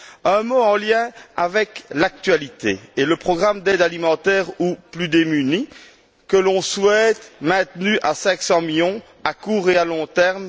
Un mot en lien avec l'actualité et le programme d'aide alimentaire aux plus démunis que l'on souhaite maintenu à 500 millions à court et à long terme